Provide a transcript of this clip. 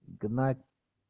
гнать